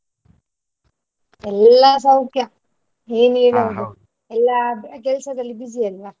ಎಲ್ಲಾ ಸೌಖ್ಯ ಎಲ್ಲ ಕೆಲಸದಲ್ಲಿ busy ಅಲ್ವಾ?